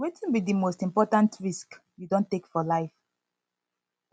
wetin be di most important risk you don take for life